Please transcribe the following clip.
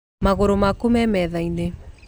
Magũrũ maku me metha-inĩ